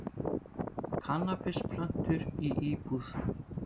Kannabisplöntur í íbúð